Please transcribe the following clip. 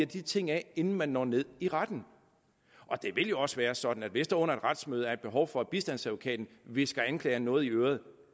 de ting af inden man når ned i retten og det vil jo også være sådan at hvis der under et retsmøde er behov for at bistandsadvokaten hvisker anklageren noget i øret